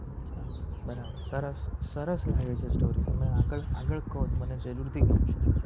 બરાબર સરસ સરસ લાગે છે story તમે આગડ આગડ કો મને જરુર થી ગમસે